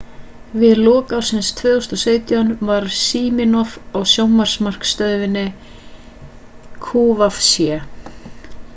við lok ársins 2017 var siminoff á sjónvarpsmarkaðsstöðinni qvc